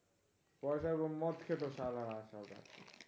পয়সা এবং মদ খেত শালারা শালা